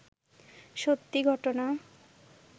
সত্যি ঘটনা